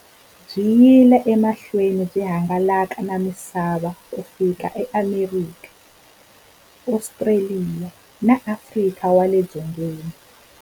Byi yile emahlweni byi hangalaka na misava ku fika eAmerika, Ostraliya na Afrika wale dzongeni.